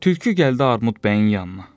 Tülkü gəldi Armud bəyin yanına, dedi: